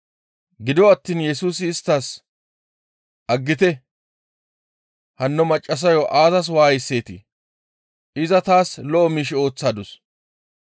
Gido attiin Yesusi isttas, «Aggite! Hanno maccassayo aazas waayiseetii? Iza taas lo7o miish ooththadus.